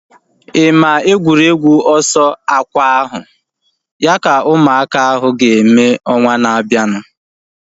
Ị maa egwuregwu ọsọ akwa ahu? Ya ka ụmụaka ahu ga-eme ọnwa na-abianu